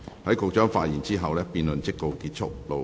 在局長發言後，辯論即告結束。